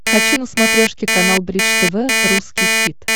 хочу на смотрешке канал бридж тв русский хит